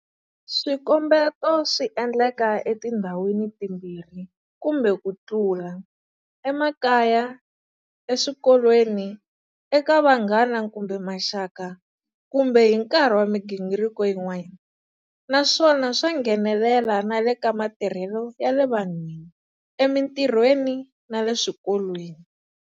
Swikombeto swi endleka etindhawini timbirhi kumbe ku tlula, emakaya, eswikolweni, eka vanghana kumbe maxaka kumbe hi nkarhi wa migingiriko yin'wana, naswona swa nghenelela na le ka matirhelo ya le vanhwini, emitirhweni na le eswikolweni.